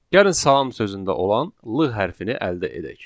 Gəlin salam sözündə olan l hərfini əldə edək.